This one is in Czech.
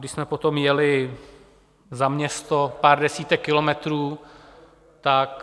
Když jsme potom jeli za město, pár desítek kilometrů, tak...